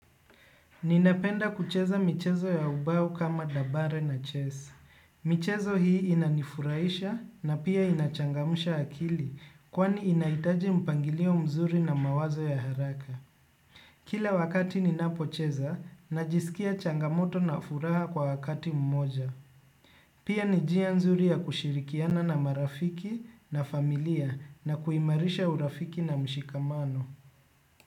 Ninapenda kucheza michezo ya ubao kama dabare na chess. Michezo hii inanifurahisha na pia inachangmsha akili kwani inahitaji mpangilio mzuri na mawazo ya haraka. Kila wakati ninapocheza, najisikia changamoto na furaha kwa wakati mmoja. Pia ni njia nzuri ya kushirikiana na marafiki na familia na kuimarisha urafiki na mshikamano.